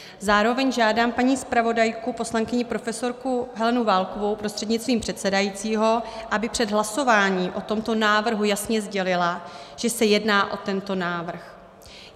Zároveň žádám paní zpravodajku, poslankyni profesorku Helenu Válkovou prostřednictvím předsedajícího, aby před hlasováním o tomto návrhu jasně sdělila, že se jedná o tento návrh.